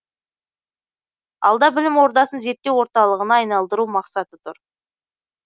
алда білім ордасын зерттеу орталығына айналдыру мақсаты тұр